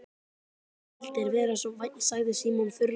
Ef þú vildir vera svo vænn sagði Símon þurrlega.